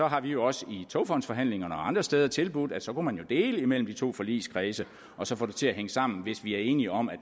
har vi jo også i togfondsforhandlingerne og andre steder tilbudt at så kunne man dele det mellem de to forligskredse og så få det til at hænge sammen hvis vi er enige om at